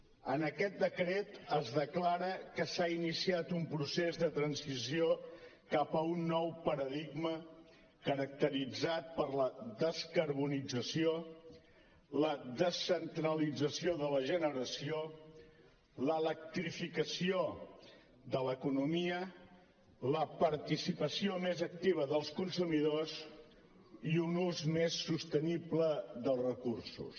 en aquest decret es declara que s’ha iniciat un procés de transició cap a un nou paradigma caracteritzat per la descarbonització la descentralització de la generació l’electrificació de l’economia la participació més activa dels consumidors i un ús més sostenible dels recursos